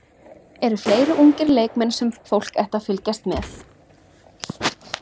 Eru fleiri ungir leikmenn sem fólk ætti að fylgjast með?